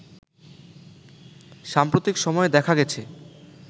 সাম্প্রতিক সময়ে দেখা গেছে